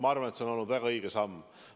Ma arvan, et see on olnud väga õige samm.